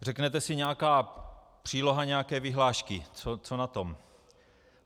Řeknete si - nějaká příloha nějaké vyhlášky, co na tom.